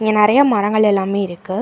இங்க நெறையா மரங்கள் எல்லாமே இருக்கு.